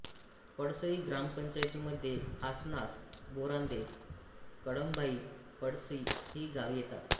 पळसई ग्रामपंचायतीमध्ये आसनास बोरांदे कळमभाई पळसई ही गावे येतात